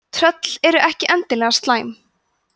tröll eru ekki endilega slæm